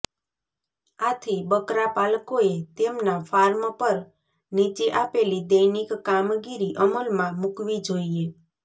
આથી બકરાપાલકોએ તેમના ફાર્મ પર નીચે આપેલી દૈનિક કામગીરી અમલમાં મુકવી જોઈએ